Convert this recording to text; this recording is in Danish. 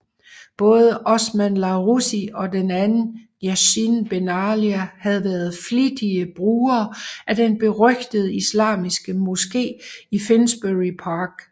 Både Osman Larussi og den anden Yacine Benalia havde været flittige brugere af den berygtede islamiske moske i Finsbury Park